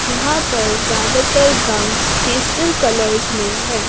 यहां पर ज्यादातर गाउंस पेस्टल कलर्स में है।